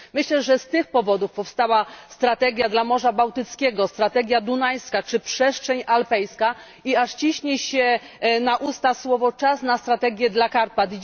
Myślę, że z tych powodów powstała strategia dla Morza Bałtyckiego, strategia dunajska czy przestrzeń alpejska, i aż ciśnie się na usta czas na strategię dla Karpat.